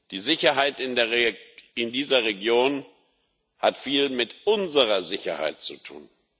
Die Sicherheit in dieser Region hat viel mit unserer Sicherheit zu tun.